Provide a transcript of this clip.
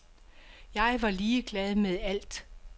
Jeg var ligeglad med alt.